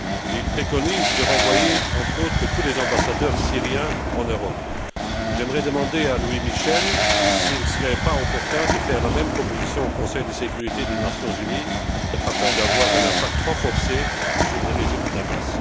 Il préconise, entre autres, de renvoyer tous les ambassadeurs syriens en Europe. J'aimerais demander à Louis Michel s'il ne serait pas opportun de faire la même proposition au Conseil de sécurité des Nations unies, afin d'avoir un impact renforcé sur le régime de Damas?